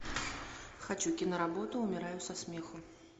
хочу киноработу умираю со смеху